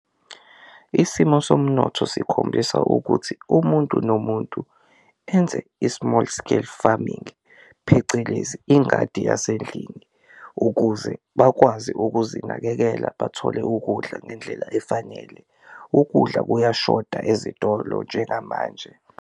Isimo somnotho sikhombisa ukuthi umuntu nomuntu enze i-small scale farming phecelezi ingadi yasendlini ukuze bakwazi ukuzinakekela bathole ukudla ngendlela efanele, ukudla kuyashoda ezitolo njengamanje.